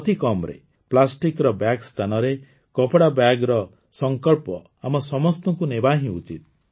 ଅତିକମ୍ରେ ପ୍ଲାଷ୍ଟିକ୍ର ବ୍ୟାଗ ସ୍ଥାନରେ କପଡ଼ା ବ୍ୟାଗ୍ର ସଂକଳ୍ପ ଆମ ସମସ୍ତଙ୍କୁ ନେବା ହିଁ ଉଚିତ୍